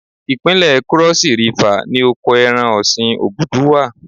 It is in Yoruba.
Ìpínlẹ̀ Krọ́sí Rifà ni oko ẹran ọ̀sìn Ògùdù wà.